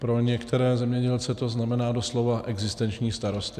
Pro některé zemědělce to znamená doslova existenční starosti.